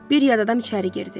Bir yad adam içəri girdi.